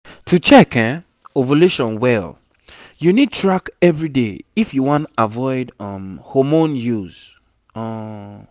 to check ovulation well you need track everyday if you wan avoid um hormone use um